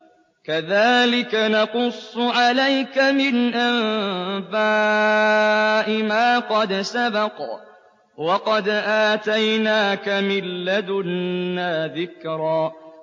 كَذَٰلِكَ نَقُصُّ عَلَيْكَ مِنْ أَنبَاءِ مَا قَدْ سَبَقَ ۚ وَقَدْ آتَيْنَاكَ مِن لَّدُنَّا ذِكْرًا